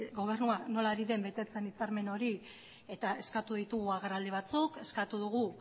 gobernua nola ari den betetzen hitzarmen hori eta eskatu ditugu agerraldi batzuk eskatu dugu